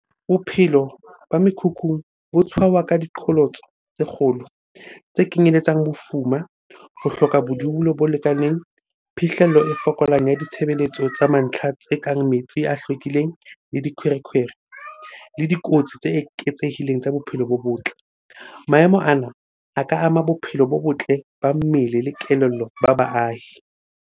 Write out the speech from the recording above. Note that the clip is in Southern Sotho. Bophelo ba mekhukhung bo tshwauwa ka diqholotso tse kgolo. Tse kenyeletsang bofuma, ho hloka bodulo bo lekaneng, phihlello e fokolang ya ditshebeletso tsa mantlha tse kang metsi a hlwekileng le dikhwerekhwere le dikotsi tse eketsehileng tsa bophelo bo botle. Maemo ana a ka ama bophelo bo botle ba mmele le kelello ba baahi.